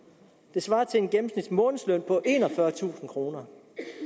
det svarer til en gennemsnitsmånedsløn på enogfyrretusind kroner